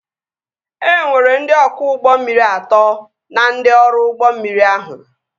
E nwere ndị ọkwọ ụgbọ mmiri atọ na ndị ọrụ ụgbọ mmiri ahụ